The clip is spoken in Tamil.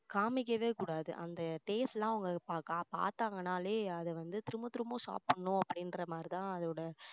காமிக்கவே கூடாது அந்த taste எல்லாம் பா~பாத்தாங்கன்னாலே அது வந்து திரும்ப திரும்ப சாப்பிடணும் அப்படின்ற மாதிரி தான் அதோட